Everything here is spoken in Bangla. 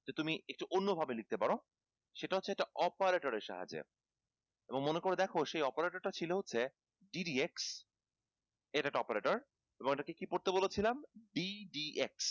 তুমি একটু অন্য ভাবে লিখতে পারো সেটা হচ্ছে একটা operator এর সাহায্যে এবং মনে করে দেখো সেই operator টা ছিল হচ্ছে ddx এটা একটা operator এবং এটা কি কি পড়তে বলেছিলাম ddx